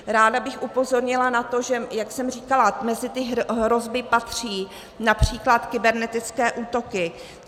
Ráda bych upozornila na to, že, jak jsem říkala, mezi ty hrozby patří například kybernetické útoky.